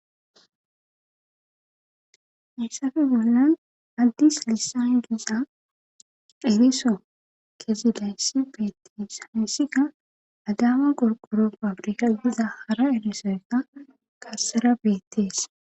Hessafe bollan addis lisan giza ediso kezilayssi beettees hayssika adama qorqoro pabrika giza hara elisoeta gassera beettees.